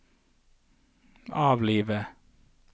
avlive